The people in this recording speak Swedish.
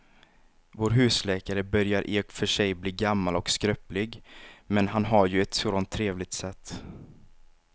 Vår husläkare börjar i och för sig bli gammal och skröplig, men han har ju ett sådant trevligt sätt!